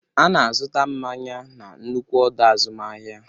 Ana azụta mmanya na nnukwu ọdọ azụmahịa.